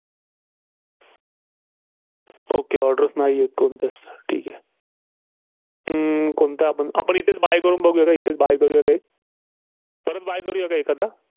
okay orders नाहीयेत कोणत्याचं. ठीक आहे. अं कोणतं आपण? आपण इथेच buy करून बघुया का? इथेच buy करूया का एक? परत buy करूया का एखादा?